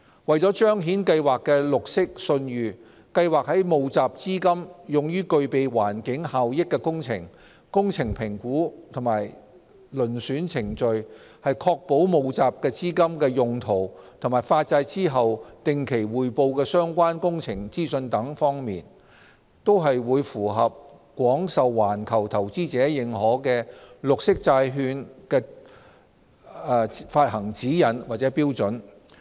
為彰顯計劃的綠色信譽，計劃在募集資金用於具備環境效益的工程、工程評估與遴選程序、確保募集資金的用途及發債後定期匯報相關工程資訊等方面，均會符合廣受環球投資者認可的綠色債券發行指引或標準。